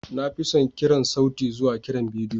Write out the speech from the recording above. Na fi son kiran sauti zuwa kiran bidiyo.